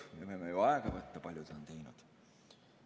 Me võime ju aega võtta, kui palju ta on neid teinud.